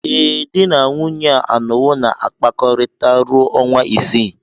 Ee, di na nwunye a anọwo na-akpakọrịta ruo ọnwa isii.